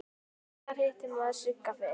Hvenær hitti maður Sigga fyrst?